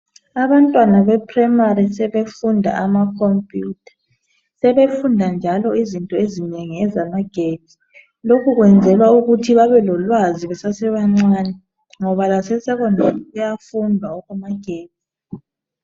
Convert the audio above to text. Abantwana bephuremari sebefunda amakhompiyutha .Sebefunda njalo izinto ezinengi zamagetsi. Lokhu kwenzelwa ukuthi babelolwazi besasebancane ngoba lase sekhondari kuyafundwa okwamagetsi.